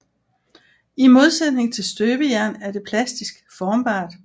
I modsætning til støbejern er det plastisk formbart